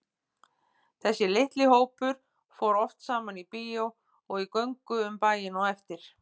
Þessi litli hópur fór oft saman í bíó og í göngu um bæinn á eftir.